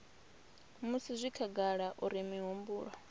musi zwi khagala uri mihumbulo